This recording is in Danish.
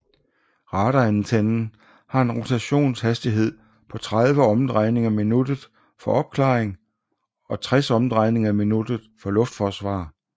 Radarantennen har en rotationshastighed på 30 omdrejninger i minuttet for opklaring og 60 omdrejninger i minuttet for luftforsvar